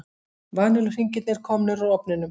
Vanilluhringirnir komnir úr ofninum.